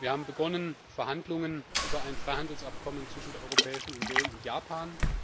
Wir haben Verhandlungen begonnen über ein Freihandelsabkommen zwischen der Europäischen Union und Japan.